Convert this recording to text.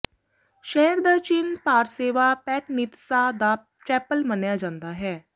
ਸ਼ਹਿਰ ਦਾ ਚਿੰਨ੍ਹ ਪਾਰਸੈਵਾ ਪੈਟਨੀਤਸਾ ਦਾ ਚੈਪਲ ਮੰਨਿਆ ਜਾਂਦਾ ਹੈ